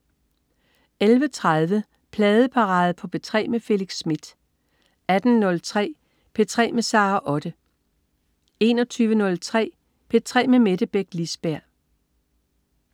11.30 Pladeparade på P3 med Felix Smith 18.03 P3 med Sara Otte 21.03 P3 med Mette Beck Lisberg